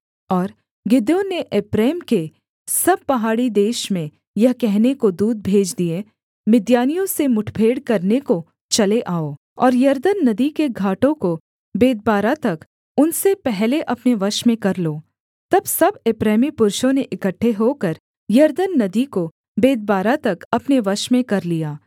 और गिदोन ने एप्रैम के सब पहाड़ी देश में यह कहने को दूत भेज दिए मिद्यानियों से मुठभेड़ करने को चले आओ और यरदन नदी के घाटों को बेतबारा तक उनसे पहले अपने वश में कर लो तब सब एप्रैमी पुरुषों ने इकट्ठे होकर यरदन नदी को बेतबारा तक अपने वश में कर लिया